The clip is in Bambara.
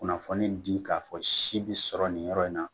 Kunnafoni di k'a fɔ si be sɔrɔ nin yɔrɔ in na